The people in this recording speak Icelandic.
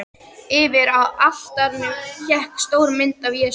Yfir altarinu hékk stór mynd af Jesú.